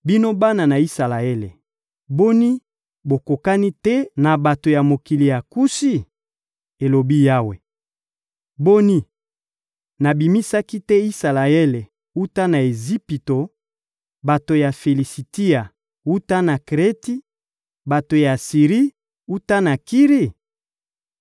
Bino bana ya Isalaele, boni, bokokani te na bato ya mokili ya Kushi?» elobi Yawe. «Boni, nabimisaki te Isalaele wuta na Ejipito, bato ya Filisitia wuta na Kreti, bato ya Siri wuta na Kiri?